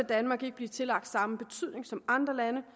danmark ikke blive tillagt samme betydning som andre lande